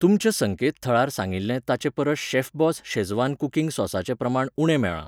तुमच्या संकेतथळार सांगिल्लें ताचे परस शेफबॉस शेझवान कुकिंग सॉसाचें प्रमाण उणें मेळ्ळां.